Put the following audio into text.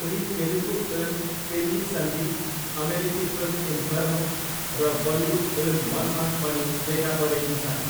उनी तेलुगु फिल्म पेल्ली सन्दी, अमेरिकी film Inferno र बलिउड फिल्म मनमा पनि देखा परेकी छन्।